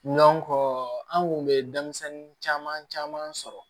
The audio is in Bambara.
an kun bɛ denmisɛnnin caman caman sɔrɔ